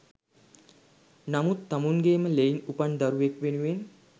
නමුත් තමුන්ගේම ලෙයින් උපන් දරුවෙක් වෙනුවෙන්